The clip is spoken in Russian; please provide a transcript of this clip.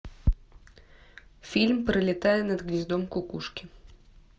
фильм пролетая над гнездом кукушки